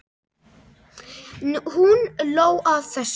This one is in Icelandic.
Hún hló að þessu.